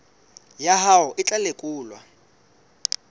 ya hao e tla lekolwa